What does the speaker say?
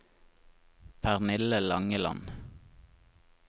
Pernille Langeland